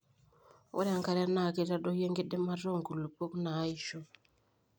ore enkare naa keitadoyio enkidimata oo nkulupok naaisho